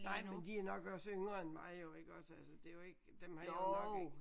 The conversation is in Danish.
Nej men de er nok også yngre end mig jo iggås altså det er jo ikke dem har jeg nok ikke